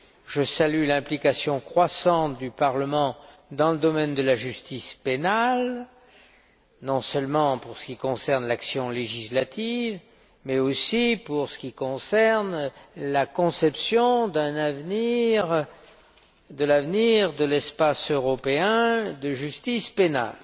Je salue l'implication croissante du Parlement dans le domaine de la justice pénale, non seulement en ce qui concerne l'action législative, mais aussi en ce qui concerne la conception de l'avenir de l'espace européen de la justice pénale.